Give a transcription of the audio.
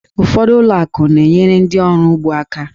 Ụfọdụ ụlọ akụ na-enyere ndị oru ugbo aka.